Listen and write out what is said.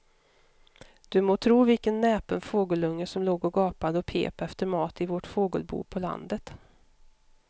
Du må tro vilken näpen fågelunge som låg och gapade och pep efter mat i vårt fågelbo på landet.